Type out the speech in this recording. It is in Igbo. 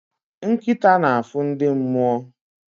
Nkịta na-afụ ndị mmụọ